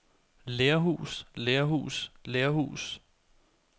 lerhus lerhus lerhus